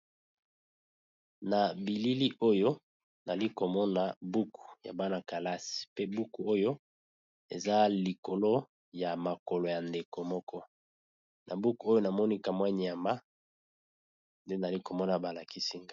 Na bilili oyo nali ko mona buku ya bana kelasi pe buku oyo eza likolo ya makolo ya ndeko moko, na buku oyo na moni kamwa niama nde nali ko mona ba lakisi .